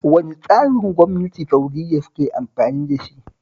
Wane tsarin gwamnati Sa'udiyya suke amfani da shi?